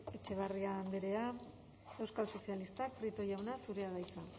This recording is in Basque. etxeberria andrea euskal sozialistak prieto jauna zurea da hitza